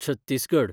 Chhattisgarh